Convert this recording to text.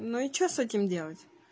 ну и что с этим делать